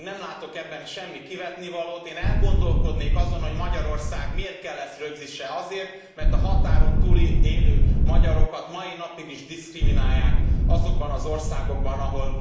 Én nem látok ebben semmi kivetnivalót. Én elgondolkodnék azon, hogy Magyarországnak miért kell ezt rögzítenie, azért, mert a határon túl élő magyarokat a mai napig is diszkriminálják azokban az országokban,